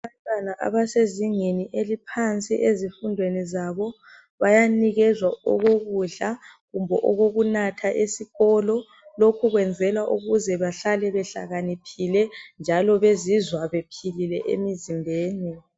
Abantwana abasezingeni eliphansi ezifundweni zabo bayanikezwa okokudla kumbe okokunatha esikolo lokho kwenzelwa ukuze bahlale bahlakaniphile njalo bezizwa bephilile emzimbeni.